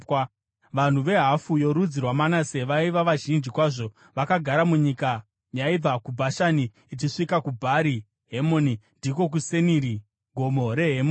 Vanhu vehafu yorudzi rwaManase vaiva vazhinji kwazvo vakagara munyika yaibva kuBhashani ichisvika kuBhari Hemoni ndiko kuSeniri (Gomo reHemoni).